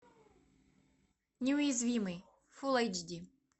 неуязвимый фулл айч ди